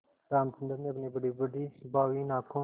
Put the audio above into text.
रामचंद्र ने अपनी बड़ीबड़ी भावहीन आँखों